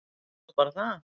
Það er nú bara það.